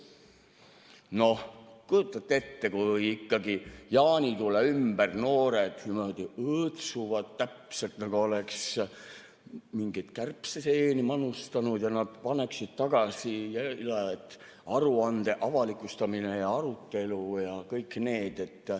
Noh, kujutate ette, kui ikkagi jaanitule ümber noored niimoodi õõtsuvad, täpselt nagu oleks mingeid kärbseseeni manustanud, ja nad paneksid tagasi, et aruande avalikustamine ja arutelu ja kõik need.